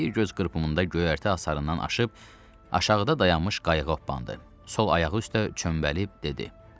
Bir göz qırpımında göyərtə asarından aşıb aşağıda dayanmış qayığa opandı, sol ayağı üstə çöməlib dedi.